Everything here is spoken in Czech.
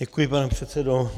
Děkuji, pane předsedo.